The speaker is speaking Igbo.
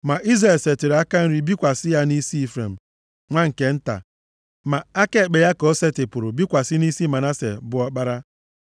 Ma Izrel setịrị aka nri bikwasị ya nʼisi Ifrem, nwa nke nta. Ma aka ekpe ya ka o setịpụrụ bikwasị nʼisi Manase bụ ọkpara.